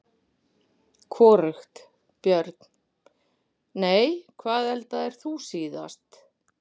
Hvorugt Börn: Nei Hvað eldaðir þú síðast?